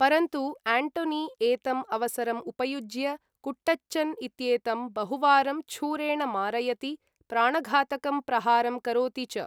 परन्तु एण्टोनी एतम् अवसरम् उपयुज्य कुट्टचन् इत्येतं बहुवारं छूरेण मारयति, प्राणघातकं प्रहारं करोति च।